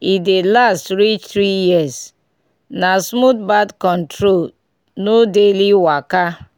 e dey last reach three years — na smooth birth control no daily waka.